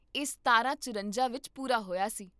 ਇਹ ਸਤਾਰਾਂ ਚੁਰੰਜਾਂ ਵਿੱਚ ਪੂਰਾ ਹੋਇਆ ਸੀ